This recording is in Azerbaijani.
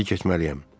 İndi keçməliyəm.